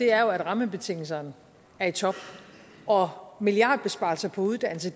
er jo at rammebetingelserne er i top og milliardbesparelser på uddannelse